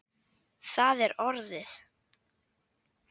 Það er orðið.